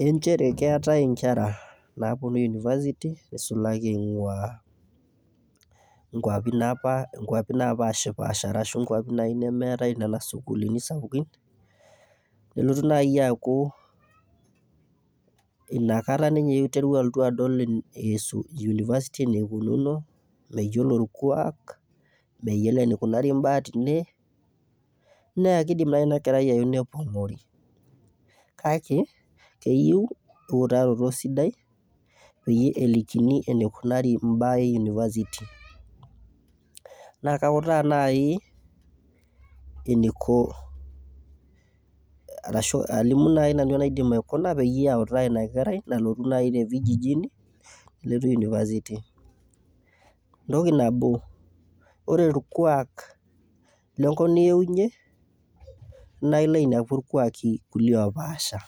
Eeh inchere keetae inkera naaponu university neisulaki eing'uaa inkwapi napaashipaasha arashu inkwapi naaji nemeetae nena sukuulini sapukin, nelotu naaji aaku inakata ninye eewuo adol university eneikununo, meyiolo orkuak, meyiolo eneikunari orkuak teene, naa keidim naaji iina kerai aeu nepong'ori. Kake keyieu eutaroto sidai peyie elikini eneikunari imbaa ee[cs[university. Naa kauta naaji eneiko arashu alimu naaji nanu enaidip aikuna peyie autaa ina kerai nalotu naji te vijijini nelotu university. Oore orkuak lenkop nieunyie naa iilo ainepu irkuaki kulie opaasha.